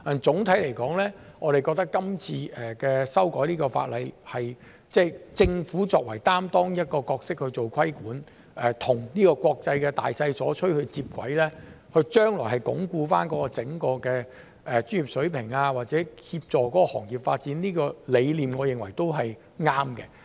總體而言，我們覺得今次修改法例，政府作為一個有擔當的角色去做規管，與國際的大趨勢接軌，將來鞏固整個專業水平或協助行業發展，這個理念我認為都是對的。